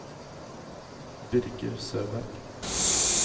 Birger Søberg